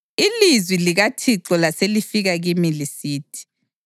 Ilizwi likaThixo laselifika kimi lisithi: